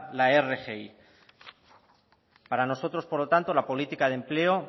la rgi para nosotros por lo tanto la política de empleo